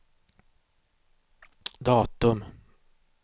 datum